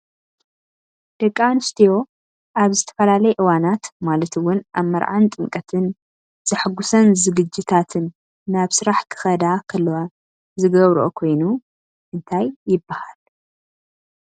ደቂ ኣንስትዮ ኣብ ዝተፈላለየ እዋናት ማለት እውን ኣብ መርዓን ጥምቀትን ዘሐጉስን ዝግጅታትን ናብ ስራሕ ክከዳ ከለዋ ዝገብረኦ ኮይኑ እንታይ ይብሃል?